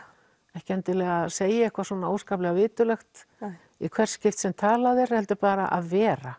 ekki endilega segja eitthvað óskaplega viturlegt í hvert skipti sem talað er heldur bara að vera